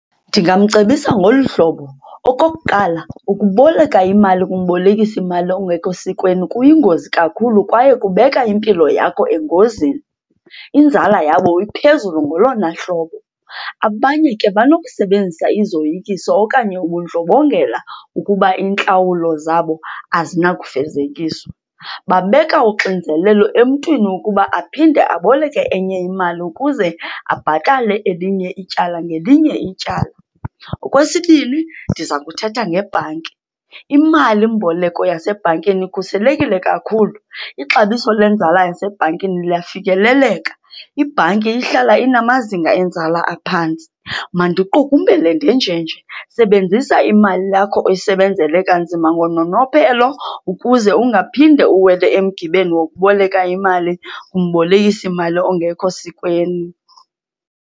Ndingamcebisa ngolu hlobo, okokuqala, ukuboleka imali kumbolekisimali ongekho sikweni kuyingozi kakhulu kwaye kubeka impilo yakho engozini. Inzala yabo iphezulu ngolona hlobo. Abanye ke banokusebenzisa izoyikiso okanye ubundlobongela ukuba iintlawulo zabo azinakufezekiswa. Babeka uxinzelelo emntwini ukuba aphinde aboleke enye imali ukuze abhatale elinye ityala ngelinye ityala. Okwesibini, ndiza kuthetha ngebhanki. Imalimboleko yasebhankini ikhuselekile kakhulu. Ixabiso lwenzala yasebhankini luyafikeleleka, ibhanki ihlala inamazinga enzala aphantsi. Mandiqukumbele ndenjenje, sebenzisa imali yakho oyisebenzele kanzima ngononophelo ukuze ungaphinde uwele emgibeni wokuboleka imali kumbolekisimali ongekho sikweni.